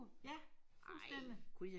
Ja fuldstændig